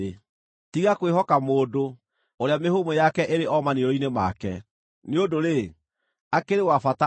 Tiga kwĩhoka mũndũ, ũrĩa mĩhũmũ yake ĩrĩ o maniũrũ-inĩ make. Nĩ ũndũ-rĩ, akĩrĩ wa bata ũrĩkũ?